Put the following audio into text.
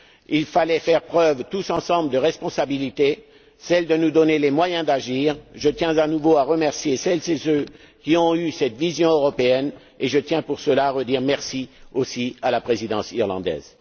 Il fallait faire preuve, tous ensemble, de responsabilité, celle de nous donner les moyens d'agir. Je tiens, à nouveau, à remercier celles et ceux qui ont eu cette vision européenne, et je tiens pour cela à redire merci aussi à la Présidence irlandaise.